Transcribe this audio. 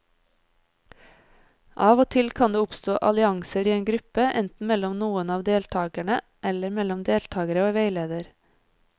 Av og til kan det oppstå allianser i en gruppe, enten mellom noen av deltakerne eller mellom deltakere og veileder.